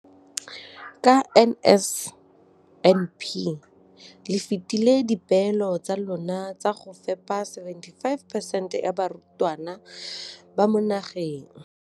Ka NSNP le fetile dipeelo tsa lona tsa go fepa masome a supa le botlhano a diperesente ya barutwana ba mo nageng.